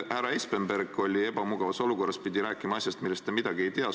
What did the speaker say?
Härra Espenberg oli sotsiaalkomisjonis ebamugavas olukorras, pidi rääkima asjast, millest ta midagi ei tea.